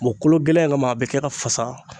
bɔn kolo gɛlɛya in kama a be kɛ ka fasa